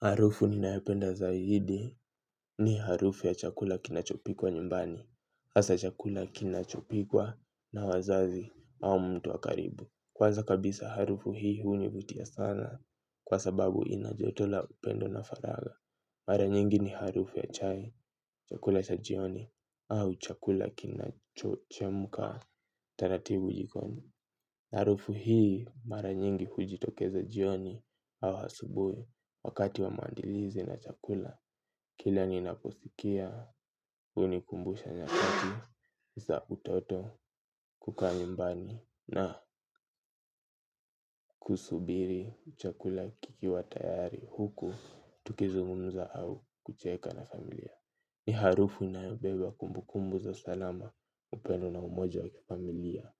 Harufu ninayopenda zaidi ni harufu ya chakula kinachopikwa nyumbani, hasa chakula kinachopikwa na wazazi au mtu wa karibu. Kwanza kabisa harufu hii hunivutia sana kwa sababu ina joto la upendo na faragha. Mara nyingi ni harufu ya chai, chakula cha jioni au chakula kinachochemuka taratibu jikoni. Harufu hii mara nyingi hujitokeza jioni au hasubui wakati wa maandilizi na chakula. Kila ni naposikia hunikumbusha nyakati za utoto kukaa nyumbani na kusubiri chakula kikiwatayari huku tukizungumuza au kucheka na familia. Ni harufu inayobeba kumbukumbu za salama upendo na umoja wakifamilia.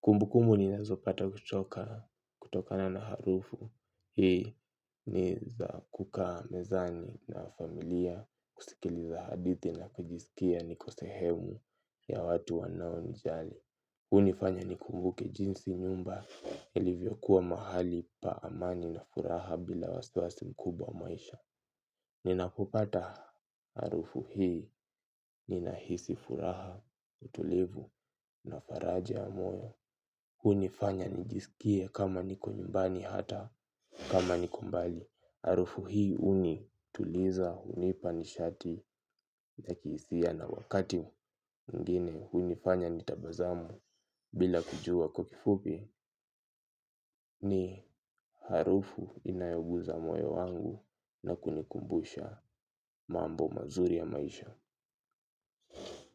Kumbu kumbu ni nazopata hutoka kutokana na harufu, hii ni za kukaa mezani na familiya, kusikiliza hadithi na kujisikia niko sehemu ya watu wanao ni jali. Hunifanya ni kumbuke jinsi nyumba ilivyo kuwa mahali pa amani na furaha bila wasiwasi mkubwa wa maisha. Ninapopata harufu hii ninahisi furaha utulivu na faraja ya moyo. Hunifanya nijisikie kama niko nyumbani hata kama niko mbali. Harufu hii huni tuliza hunipa nishati yakihisiya na wakati mwingine hunifanya nitabasamu bila kujuwa kwa kifupi ni harufu inayoguza moyo wangu na kunikumbusha mambo mazuri ya maisha.